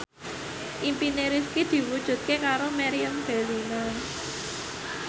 impine Rifqi diwujudke karo Meriam Bellina